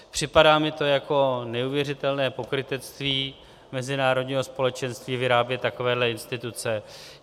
Připadá mi to jako neuvěřitelné pokrytectví mezinárodního společenství vyrábět takové instituce.